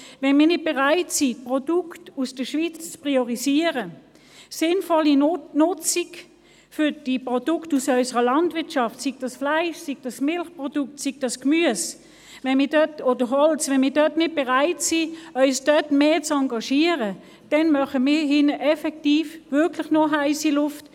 Wenn wir nicht bereit sind, Produkte aus der Schweiz zu priorisieren und die Produkte unserer Landwirtschaft zu nutzen – ob Fleisch, Milchprodukte, Gemüse oder Holz – und auch nicht bereit sind, uns hier stärker zu engagieren, dann erzeugen wir hier drin wirklich nur heisse Luft.